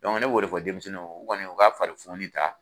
Dɔnku ne b'o de fɔ denmisɛnninw ye u kɔni u ka farifoni ta